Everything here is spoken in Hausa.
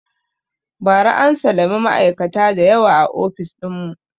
Ba ra an salami ma'aikata da yawa a ofis ɗin mu